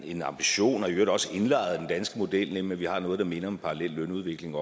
en ambition og i øvrigt også indlejret i den danske model nemlig at vi har noget der minder om en parallel lønudvikling